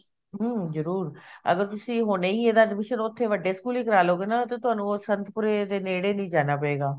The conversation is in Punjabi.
ਹਮ ਜਰੂਰ ਅਗਰ ਤੁਸੀਂ ਹੁਣੇ ਈ ਇਹਦਾ admission ਉੱਥੇ ਵੱਡੇ ਸਕੂਲ ਵਿਚ ਕਰਵਾਲੋਗੇ ਨਾ ਤਾਂ ਤੁਹਾਨੂੰ ਉਹ ਸੰਤਪੂਰੇ ਦੇ ਨੇੜੇ ਨੀ ਜਾਣਾ ਪਏਗਾ